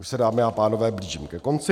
Už se, dámy a pánové, blížím ke konci.